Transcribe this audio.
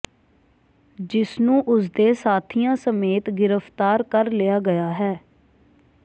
ਜਿਸ ਨੂੰ ਉਸ ਦੇ ਸਾਥੀਆਂ ਸਮੇਤ ਗ੍ਰਿਫਤਾਰ ਕਰ ਲਿਆ ਗਿਆ ਹੈ